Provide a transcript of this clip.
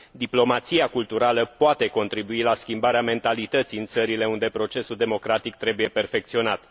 Diplomația culturală poate contribui la schimbarea mentalității în țările unde procesul democratic trebuie perfecționat.